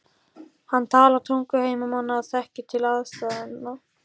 Hann talar tungu heimamanna og þekkir til aðstæðna.